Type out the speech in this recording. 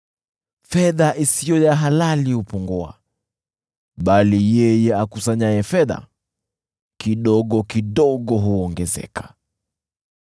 Fedha isiyo ya halali hupungua, bali yeye akusanyaye fedha kidogo kidogo huongezeka.